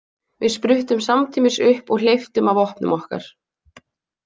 Við spruttum samtímis upp og hleyptum af vopnum okkar.